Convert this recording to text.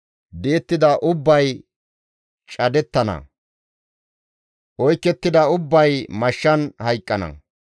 Di7ettida ubbay cadettana; oykettida ubbay mashshan hayqqana.